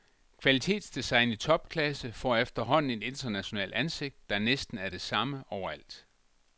Kvalitetsdesign i topklasse får efterhånden et internationalt ansigt, der næsten er det samme overalt.